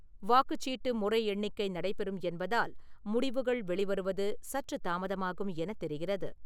வாக்குச்சீட்டு முறை எண்ணிக்கை நடைபெறும் என்பதால் முடிவுகள் வெளி வருவது சற்று தாமதமாகும் என தெரிகிறது.